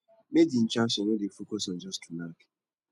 make di intraction no dey focus on just to knack